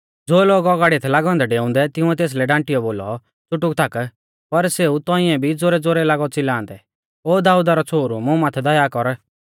ज़ो लोग औगाड़िऐ थै लागै औन्दै डेउंदै तिंउऐ तेसलै डांटीयौ बोलौ च़ुटुक थाक पर सेऊ तौंइऐ भी ज़ोरैज़ोरै लागौ च़िलांदै ओ दाऊदा रौ छ़ोहरु मुं माथै दया कर